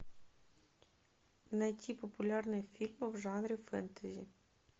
найти популярные фильмы в жанре фэнтези